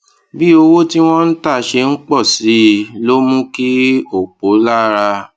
bí owó tí wón ń tà ṣe ń pò sí i ló mú kí òpò lára